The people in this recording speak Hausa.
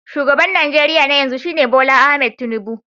Shugaban Najeriya na yanzu shine Bola Ahmed Tinubu